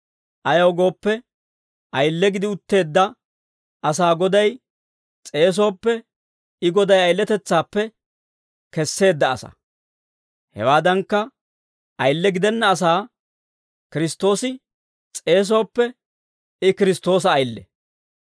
Ayaw gooppe, ayile gidi utteedda asaa Goday s'eesooppe, I Goday ayiletetsaappe kesseedda asaa. Hawaadankka, ayile gidenna asaa Kiristtoosi s'eesooppe, I Kiristtoosa ayile.